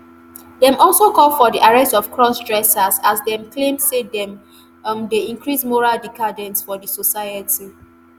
dem also call for di arrest of crossdressers as dem claim say dem um dey increase moral decadence for di society